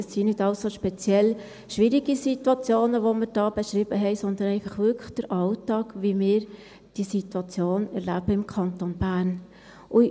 Es sind nicht alles so speziell schwierige Situationen, die wir da beschrieben haben, sondern einfach wirklich der Alltag, wie wir diese Situation im Kanton Bern erleben.